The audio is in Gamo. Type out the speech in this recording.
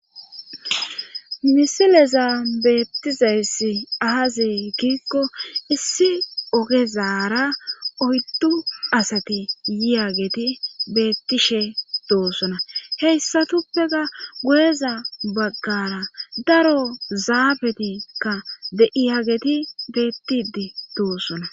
misileza beettizayssi aazi giikko issi ogezaara oyddu asati yiyageti bettishe doosona heyssatuppeka go7eza baggara daro zaabetikka de7iyageti bettidi doosona.